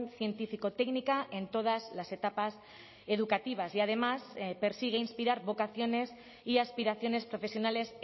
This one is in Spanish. científico técnica en todas las etapas educativas y además persigue inspirar vocaciones y aspiraciones profesionales